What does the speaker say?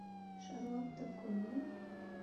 шарлотта колли